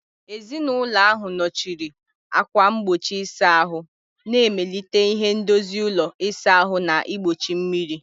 Ezinụlọ ahụ nọchiri ákwà mgbochi ịsa ahụ, na-emelite ihe ndozi ụlọ ịsa ahụ na igbochi mmiri.